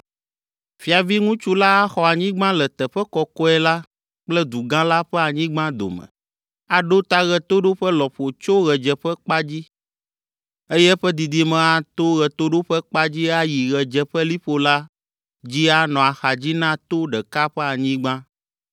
“ ‘Fiaviŋutsu la axɔ anyigba le teƒe kɔkɔe la kple du gã la ƒe anyigba dome. Aɖo ta ɣetoɖoƒe lɔƒo tso ɣedzeƒekpa dzi, eye eƒe didime ato ɣetoɖoƒekpa dzi ayi ɣedzeƒeliƒo la dzi anɔ axadzi na to ɖeka ƒe anyigba.